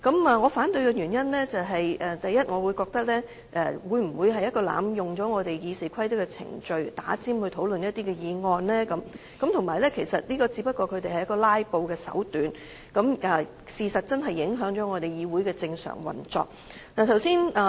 我反對的原因，首先，我覺得這會否與有人濫用我們《議事規則》的程序，插隊提出議案討論，而且這只不過是他們"拉布"的手段，事實是議會正常運作真的受到影響。